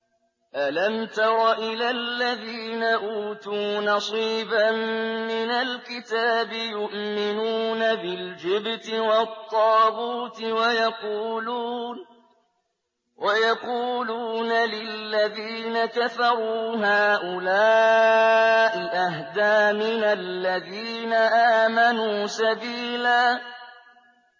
أَلَمْ تَرَ إِلَى الَّذِينَ أُوتُوا نَصِيبًا مِّنَ الْكِتَابِ يُؤْمِنُونَ بِالْجِبْتِ وَالطَّاغُوتِ وَيَقُولُونَ لِلَّذِينَ كَفَرُوا هَٰؤُلَاءِ أَهْدَىٰ مِنَ الَّذِينَ آمَنُوا سَبِيلًا